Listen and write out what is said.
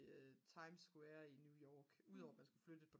times square i New York udover man skulle flytte